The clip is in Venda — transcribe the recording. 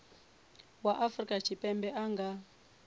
wa afrika tshipembe a nga